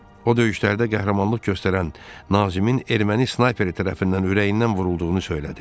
O döyüşlərdə qəhrəmanlıq göstərən Nazimin erməni snayperi tərəfindən ürəyindən vurulduğunu söylədi.